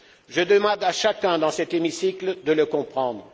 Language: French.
Je demande à chacun dans cet hémicycle de le comprendre.